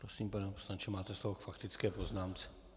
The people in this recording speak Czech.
Prosím, pane poslanče, máte slovo k faktické poznámce.